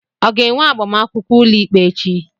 ọ ga-enwe agbamakwụkwọ ụlọikpe echi